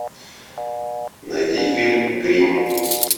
найди фильм гримм